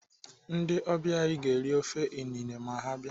Ndị ọbịa anyị ga-eri ofe inine ma ha abịa.